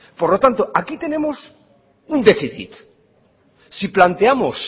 por lo tanto aquí tenemos un déficit si planteamos